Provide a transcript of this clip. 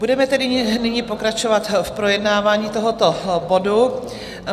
Budeme tedy nyní pokračovat v projednávání tohoto bodu.